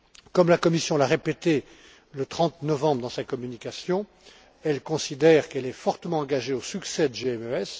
Comme la Commission l'a répété le 30 novembre dans sa communication, elle considère qu'elle est particulièrement attachée au succès de GMES.